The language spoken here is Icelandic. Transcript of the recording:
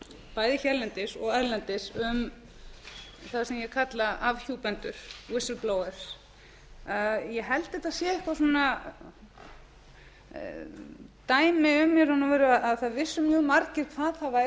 bæði hérlendis og erlendis um það sem ég kalla afhjúpendur ég held að þetta sé eitthvað dæmi um í raun og veru að það vissu mjög margir hvað það væri þegar